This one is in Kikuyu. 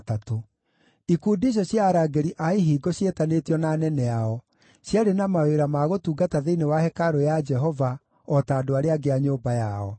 Ikundi icio cia arangĩri a ihingo ciĩtanĩtio na anene ao, ciarĩ na mawĩra ma gũtungata thĩinĩ wa hekarũ ya Jehova o ta andũ arĩa angĩ a nyũmba yao.